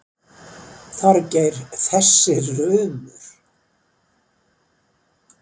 Þorgeir, þessi rumur.